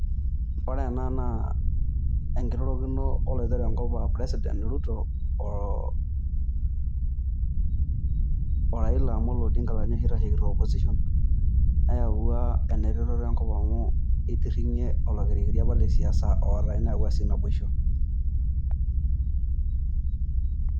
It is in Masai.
Ore ena naa enkirorokino Oloitore Enkop aa president Ruto oo Raila Omolo Odinga aa ninye oshi oitashekito Opposition neyawua ena eretoto Enkop amu eitirringie oloikiriri lesiasa apa ootae neyawua sii naboisho.